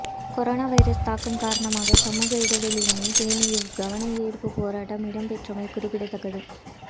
corona virus தாக்கம் காரணமாக சமூக இடைவெளியினை பேணி இவ் கவனயீர்ப்பு போராட்டம் இடம்பெற்றமை குறிப்பிடத்தக்கது